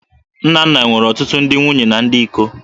Nnanna nwere ọtụtụ ndị nwunye na ndị iko